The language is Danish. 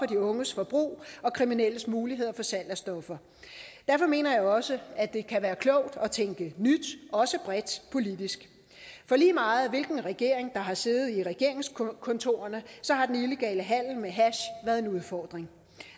de unges forbrug og kriminelles muligheder for salg af stoffer derfor mener jeg også at det kan være klogt at tænke nyt også bredt politisk for lige meget hvilken regering der har siddet i regeringskontorerne har den illegale handel med hash været en udfordring